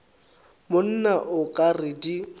monna o ka re di